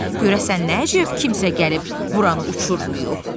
Görəsən nə əcəb kimsə gəlib buranı uçurmayıb.